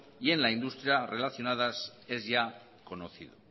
y en la industria relacionadas es ya conocido